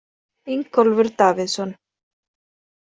Ingólfur Davíðsson.